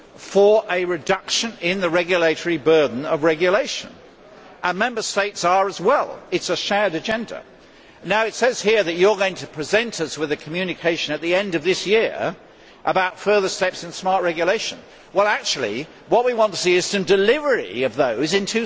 for a reduction in the regulatory burden, and Member States are as well. It is a shared agenda. It says here that you are going to present us with a communication at the end of this year about further steps in smart regulation, but what we want to see is some delivery of those in